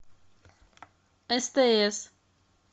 стс